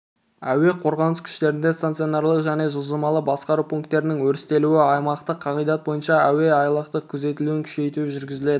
әуе қорғанысы күштерінде стационарлық және жылжымалы басқару пункттерінің өрістетілуі аймақтық қағидат бойынша әуеайлақтардың күзетілуін күшейту жүргізіледі